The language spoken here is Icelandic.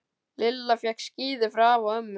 Lilla fékk skíði frá afa og ömmu.